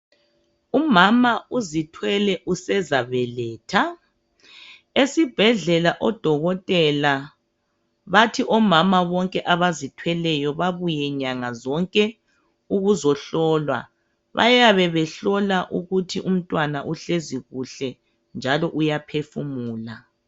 Umama uzithwele usezabeletha, esibhedlela odokotela bathi omama bonke abazithweleyo babuye nyanga zonke ukuzohlolwa. Bayabe behlola ukuthi umntwana uhlezi kuhle njalo uyaphefumula.